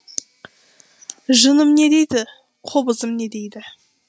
жыным не дейді қобызым не дейді